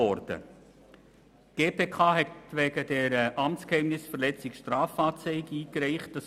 Die GPK reichte wegen dieser Amtsgeheimnisverletzung eine Strafanzeige ein.